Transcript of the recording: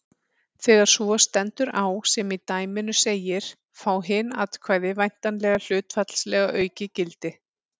Þegar svo stendur á sem í dæminu segir fá hin atkvæði væntanlega hlutfallslega aukið gildi.